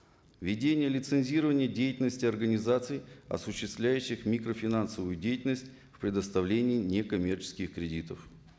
ведение лицензирования деятельности организаций осуществляющих микрофинансовую деятельность в предоставлении некоммерческих кредитов